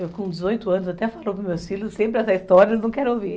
Eu com dezoito anos, até falo com meus filhos, sempre essa história, eu não quero ouvir.